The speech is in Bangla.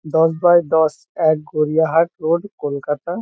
দশ বাই দশ এক গড়িয়াহাট রোড কলকাতা।